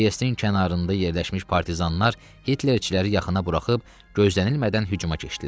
Triesin kənarında yerləşmiş partizanlar Hitlerçiləri yaxına buraxıb gözlənilmədən hücuma keçdilər.